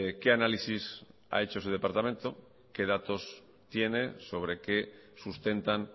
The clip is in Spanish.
qué análisis ha hecho su departamento qué datos tiene sobre qué sustentan